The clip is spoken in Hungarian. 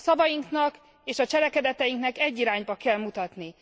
A szavainknak és a cselekedeteinknek egy irányba kell mutatni!